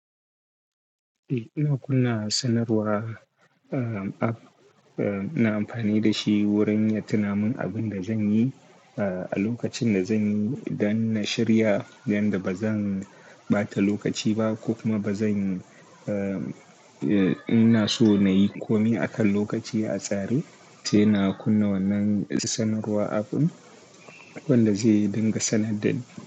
Eh, ina kunna sanarwa, uh, app, uh, ina amfani da shi wurin yin tunamin abin da zan yi, uh, a lokacin da zan yi don na shirya don da ba zan ɓata lokaci ba ko kuma ba zan, uh, ina so na yi komai akan lokaci a tsare, sai na kunna wannan sanarwa app ɗin wanda zai dinga sanar da ni.